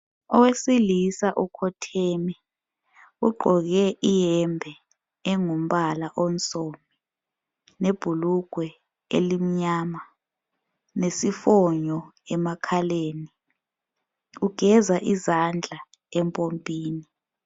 Owesilisa ukhotheme. Ugqoke iyembe engumbala onsundu lebhulugwe elimnyama, lesifonyo emakhaleni. Ugeza izandla empompini.